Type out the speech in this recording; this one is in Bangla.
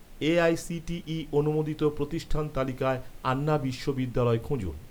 এ.আই.সি.টি.ই অনুমোদিত প্রতিষ্ঠান তালিকায়, আন্না বিশ্ববিদ্যালয় খুঁজুন